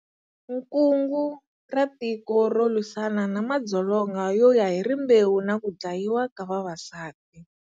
Kungu ra tiko ro lwisana na madzolonga yo ya hi rimbewu na ku dlayiwa ka vavasati.